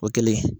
O kɛlen